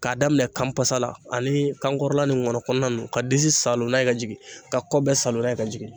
K'a daminɛ kanpasa la ani kankɔrɔla ni nkɔnɔ kɔnɔna ninnu ka disi saalo n'a ye ka jigin ka kɔ bɛɛ saalon n'a ye ka jigin